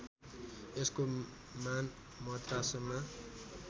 यसको मान मद्रासमा